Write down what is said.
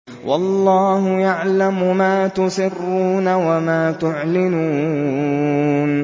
وَاللَّهُ يَعْلَمُ مَا تُسِرُّونَ وَمَا تُعْلِنُونَ